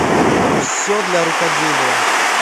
все для рукоделия